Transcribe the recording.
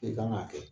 I kan k'a kɛ